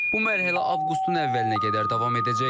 Bu mərhələ avqustun əvvəlinə qədər davam edəcək.